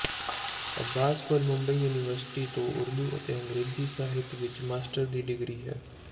ਅੱਬਾਸ ਕੋਲ ਮੁੰਬਈ ਯੂਨੀਵਰਸਿਟੀ ਤੋਂ ਉਰਦੂ ਅਤੇ ਅੰਗਰੇਜ਼ੀ ਸਾਹਿਤ ਵਿਚ ਮਾਸਟਰ ਦੀ ਡਿਗਰੀ ਹੈ